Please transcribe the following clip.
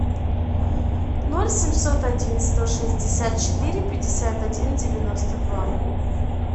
ноль семьсот один сто шестьдесят четыре пятьдесят один девяносто два